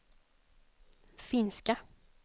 finska